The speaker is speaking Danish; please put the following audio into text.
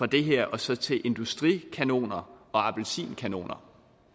det her og så industrikanoner og appelsinkanoner